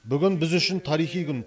бүгін біз үшін тарихи күн